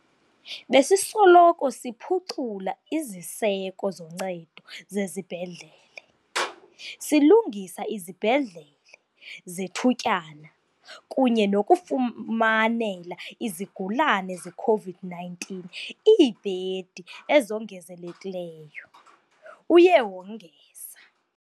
"Besisoloko siphucula iziseko zoncedo zezibhedlele, silungisa izibhedlele zethutyana kunye nokufumanela izigulane ze-COVID-19 iibhedi ezongezelekileyo," uye wongeza.